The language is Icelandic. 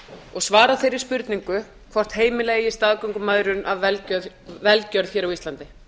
og svara þeirri spurningu hvort heimila eigi staðgöngumæðrun af velgjörð á íslandi